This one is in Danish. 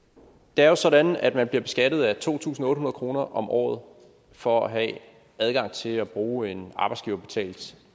det er jo sådan at man bliver beskattet af to tusind otte hundrede kroner om året for at have adgang til at bruge en arbejdsgiverbetalt